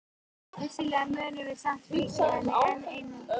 Vissulega munum við samt fylgja henni enn um sinn.